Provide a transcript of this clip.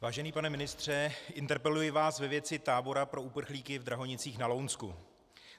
Vážený pane ministře, interpeluji vás ve věci tábora pro uprchlíky v Drahonicích na Lounsku.